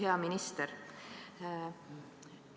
Hea minister!